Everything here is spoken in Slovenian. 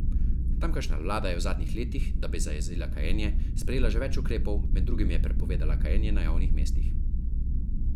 Tamkajšnja vlada je v zadnjih letih, da bi zajezila kajenje, sprejela že več ukrepov, med drugim je prepovedala kajenje na javnih mestih.